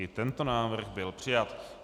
I tento návrh byl přijat.